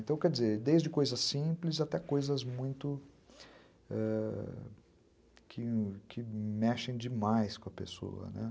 Então, quer dizer, desde coisas simples até coisas muito...ãh, que mexem demais com a pessoa.